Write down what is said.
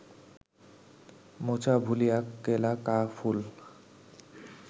মোচা ভুলিয়া কেলা কা ফুল